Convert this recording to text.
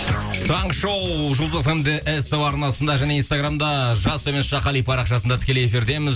таңғы шоу жұлдыз фм де ств арнасында және инстаграмда жас қали парақшасында тікелей эфирдеміз